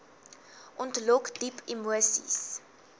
ontlok diep emoseis